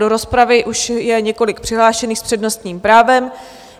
Do rozpravy už je několik přihlášených s přednostním právem.